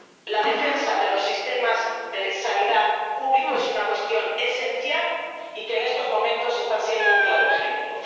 La defensa de los sistemas de sanidad pública es una cuestión esencial, sistemas que en estos momentos están dando